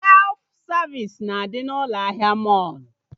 Sef savisi ga-adị na ụlọ ahịa mọlụ